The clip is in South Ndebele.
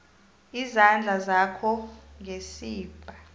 izandla zakho ngesibha